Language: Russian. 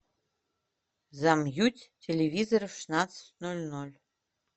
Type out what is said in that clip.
замьють телевизора в шестнадцать ноль ноль